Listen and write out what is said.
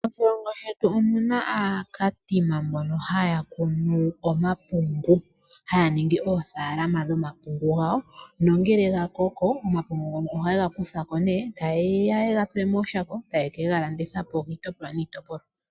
Moshilongo shetu omuna aaKatima mbono haya kunu omapungu, haya ningi oothaalama dhomapungu gawo. Nongele gakoko omapungu ngono ohaye ga kutha ko nee tayeya yega tule mooshako, taye kega landitha po kiitopolwa niitopolwa.